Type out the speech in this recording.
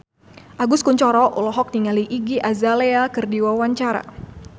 Agus Kuncoro olohok ningali Iggy Azalea keur diwawancara